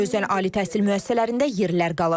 Özdə ali təhsil müəssisələrində yerlər qalır.